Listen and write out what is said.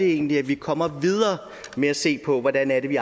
egentlig kommer videre med at se på hvordan vi